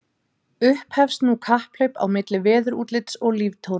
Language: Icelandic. Upphefst nú kapphlaup á milli veðurútlits og líftóru.